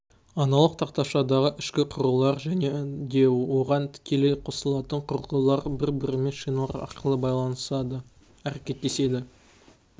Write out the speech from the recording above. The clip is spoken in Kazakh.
аналық тақшадағы ішкі құрылғылар және де оған тікелей қосылатын құрылғылар бір-бірімен шиналар арқылы байланысады әрекеттеседі